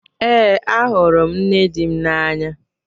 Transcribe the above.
Ee, ahụrụ m nne dị m n'anya.